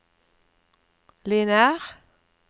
lineær